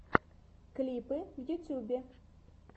клипы в ютьюбе